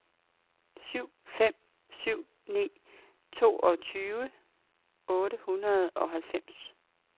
syv fem syv ni toogtyve otte hundrede og halvfems